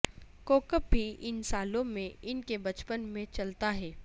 کوبب بھی ان سالوں میں ان کے بچپن میں چلتا ہے